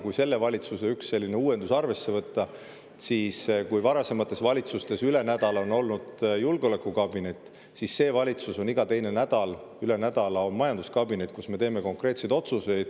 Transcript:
Sellel valitsusel on üks uuendus: kui varasemates valitsustes üle nädala julgeolekukabineti, siis selles valitsuses iga teine nädal, üle nädala majanduskabineti, kus me teeme konkreetseid otsuseid.